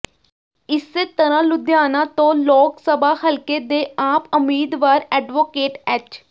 ਇਸੇ ਤਰਾਂ ਲੁਧਿਆਣਾ ਤੋਂ ਲੋਕ ਸਭਾ ਹਲਕੇ ਦੇ ਆਪ ਉਮੀਦਵਾਰ ਐਡਵੋਕੇਟ ਐਚ